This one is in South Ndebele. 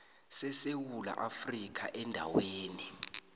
sesewula afrika endaweni